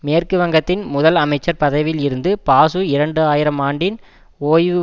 மேற்கு வங்கத்தின் முதல் அமைச்சர் பதவியில் இருந்த பாசு இரண்டு ஆயிரம் ஆண்டில் ஓய்வு